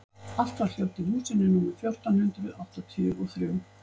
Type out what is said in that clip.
Allt var hljótt í húsinu númer fjórtán hundruð áttatíu og þrjú.